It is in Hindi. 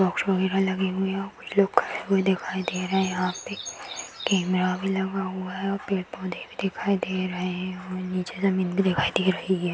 बॉक्स वगेरा लगे हुए हैं। कुछ लोग खड़े हुए दिखाई दे रहे हैं। कैमरा भी लगा हुआ है। पेड़-पौधे भी दिखाई दे रहे हैं और नीचे जमीन भी दिखाई दे रही है।